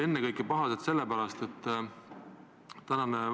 Ennekõike olid nad pahased vaat mille pärast.